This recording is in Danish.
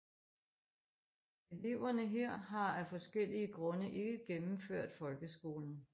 Eleverne her har af forskellige grunde ikke gennemført folkeskolen